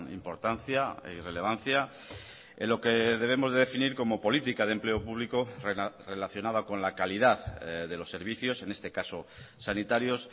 importancia y relevancia en lo que debemos de definir como política de empleo público relacionada con la calidad de los servicios en este caso sanitarios